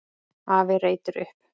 Afi reytir upp.